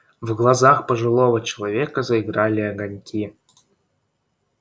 в глазах пожилого человека заиграли огоньки